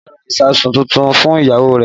Kọ́lá ra ìsáàsùn tuntun fún ìyàwó rẹ̀